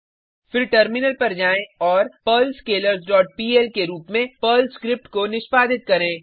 फिर टर्मिनल पर जाएँ और पर्ल स्केलर्स डॉट पीएल के रुप में पर्ल स्क्रिप्ट को निष्पादित करें